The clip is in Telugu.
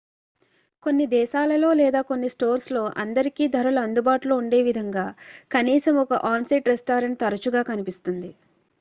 కొన్ని దేశాలలో లేదా కొన్ని స్టోర్స్లో అందరికీ ధరలు అందుబాటులో ఉండే విధంగా కనీసం ఒక ఆన్-సైట్ రెస్టారెంట్ తరచుగా కనిపిస్తుంది